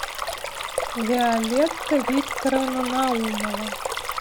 виолетта викторовна наумова